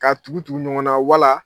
K'a tugutugu ɲɔgɔnna wala